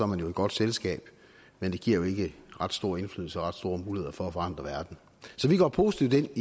man jo i godt selskab men det giver ikke ret stor indflydelse og ret store muligheder for at forandre verden så vi går positivt